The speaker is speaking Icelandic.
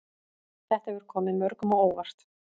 Þetta hefur komið mörgum á óvart